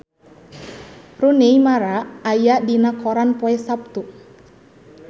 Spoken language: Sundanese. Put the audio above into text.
Rooney Mara aya dina koran poe Saptu